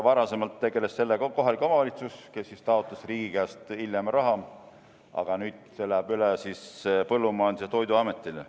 Varasemalt tegeles sellega kohalik omavalitsus, kes taotles riigi käest hiljem raha, aga nüüd see läheb üle Põllumajandus- ja Toiduametile.